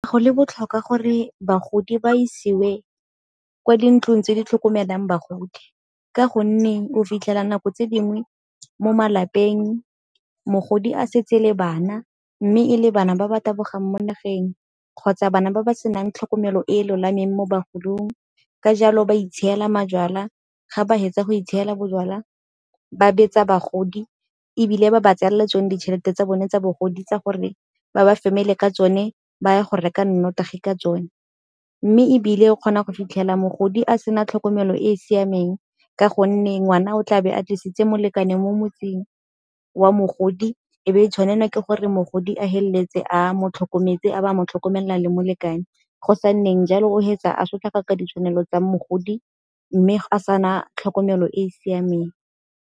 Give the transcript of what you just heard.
Go le botlhokwa gore bagodi ba isiwe kwa dintlong tse di tlhokomelang bagodi ka gonne o fitlhela nako tse dingwe mo malapeng mogodi a setse le bana. Mme e le bana ba ba tabogang mo nageng kgotsa bana ba ba senang tlhokomelo e e lolameng mo bagolong ka jalo ba itshiela majwala ga ba fetsa go itshiela bojala ba betsa bagodi ebile ba ba tseela tsone ditšhelete tsa bone tsa bogodi tsa gore ba ba ka tsone ba ya go reka nnotagi ka tsone. Mme ebile o kgona go fitlhela mogodi a sena tlhokomelo e e siameng ka gonne ngwana o tlabe a tlisitse molekane mo motseng wa mogodi e be e tshwanelwa ke gore mogodi a feleletse a mo tlhokometse a ba a mo tlhokomelela le molekane. Go sa nneng jalo o fetsa a sotlaka ka ditshwanelo tsa mogodi mme a sana tlhokomelo e e siameng.